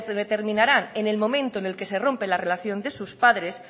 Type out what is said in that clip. determinarán en el momento en el que se rompe la relación de sus padres